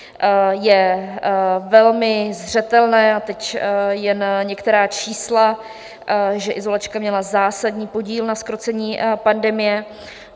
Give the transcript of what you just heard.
Je velmi zřetelné, a teď jen některá čísla, že izolačka měla zásadní podíl na zkrocení pandemie.